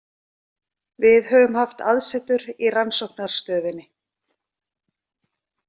Við höfum haft aðsetur í rannsóknarstöðinni